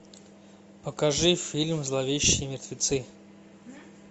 покажи фильм зловещие мертвецы